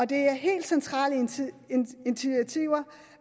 det er helt centrale initiativer